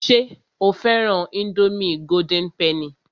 Ṣé o fẹ́ran ińdómì golden penny?